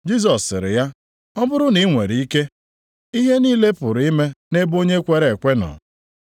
Jisọs sịrị ya, “ ‘Ọ bụrụ na i nwere ike’? Ihe niile pụrụ ime nʼebe onye kwere ekwe nọ.”